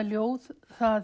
ljóð